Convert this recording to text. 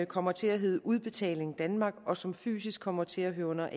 kommer til at hedde udbetaling danmark og som fysisk kommer til at høre under